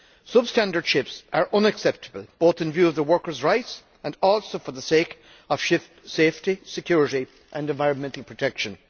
Substandard ships are unacceptable both in view of the workers' rights and also for the sake of ship safety, security and environmental protection.